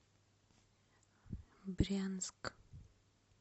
брянск